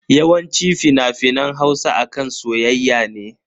Yawanci fina-finan Hausa akan soyayya ne.